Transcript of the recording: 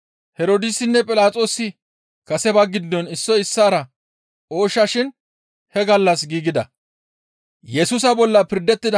Herdoosinne Philaxoosi kase ba giddon issoy issaara ooshsha shin he gallas giigida.